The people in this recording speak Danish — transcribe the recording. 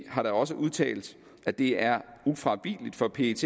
har da også udtalt at det er ufravigeligt for pet